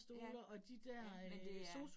Ja, ja, men det er